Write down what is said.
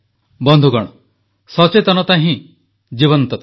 ବନ୍ଧୁଗଣ ସଚେତନତା ହିଁ ତ ଜୀବନ୍ତତା